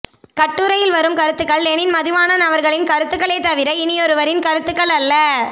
கட்டுரையில் வரும் கருத்துக்கள் லெனின் மதிவாணம் அவர்களின் கருத்துக்களே தவிர இனியொருவின் கருத்துக்கள் அல்ல